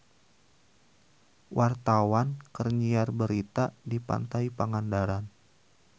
Wartawan keur nyiar berita di Pantai Pangandaran